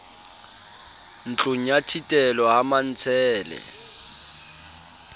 ntlong ya thitelo ha mantshele